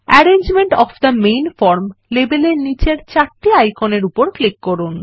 arrangement of the main form লেবেলের নীচের চারটি আইকনের উপর ক্লিক করুন